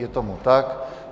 Je tomu tak.